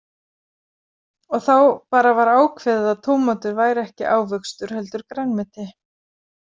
Og þá bara var ákveðið að tómatur væri ekki ávöxtur heldur grænmeti.